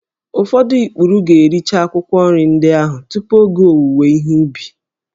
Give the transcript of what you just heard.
Ụfọdụ ikpuru ga-ericha akwụkwọ nri ndị ahụ tupu oge owuwe ihe ubi